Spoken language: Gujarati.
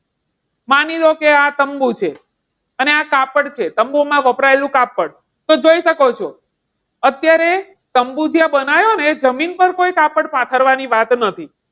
માની લો કે આ તંબુ છે અને આતા પણ છે તંબુમાં વપરાયેલું કાપડ તો જોઈ શકો છો અત્યારે જ્યાં તંબુ બનાવ્યો ને ત્યાં જમીન પર કોઈપણ કાપડ પાથરવાની ત્યાં વાત નથી.